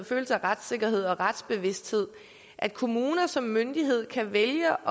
følelse af retssikkerhed og retsbevidsthed at kommuner som myndighed kan vælge